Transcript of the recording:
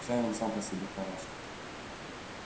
чай он сам по себе хороший